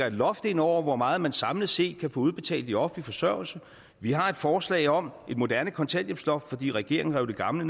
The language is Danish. et loft ind over hvor meget man samlet set kan få udbetalt i offentlig forsørgelse vi har et forslag om et moderne kontanthjælpsloft fordi regeringen rev det gamle